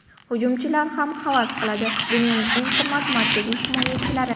Hujumchilar ham havas qiladi: dunyoning eng qimmat markaziy himoyachilari.